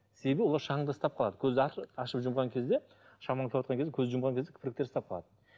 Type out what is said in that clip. себебі олар шаңды ұстап қалады көзді ашып жұмған кезде көзді жұмған кезде кірпіктер ұстап қалады